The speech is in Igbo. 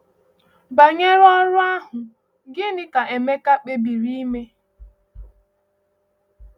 Banyere ọrụ ahụ, gịnị ka Emeka kpebiri ime?